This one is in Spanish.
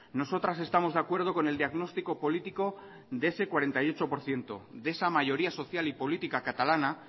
nosotras estamos de acuerdo con el diagnóstico político de ese cuarenta y ocho por ciento de esa mayoría social y política catalana